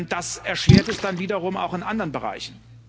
Das erschwert es dann wiederum auch in anderen Bereichen.